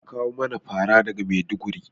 Za a kawo mana fara daga maiduguri